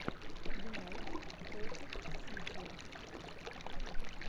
юнайтед против сити